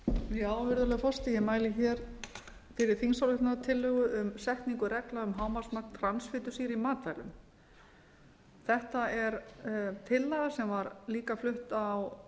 virðulegi forseti ég mæli fyrir þingsályktunartillögu um setningu reglna um hámarksmagn transfitusýru í matvælum þetta er tillaga sem var líka flutt á